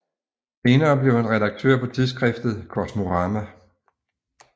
Senere blev han redaktør på tidsskriftet Kosmorama